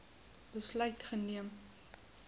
besluit geneem